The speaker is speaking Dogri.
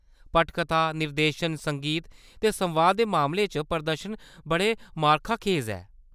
पटकथा, निर्देशन, संगीत ते संवादें दे मामले च प्रदर्शन बड़े मार्काखेज हे।